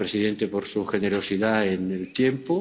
gracias, señor presidente, por su generosidad en el tiempo.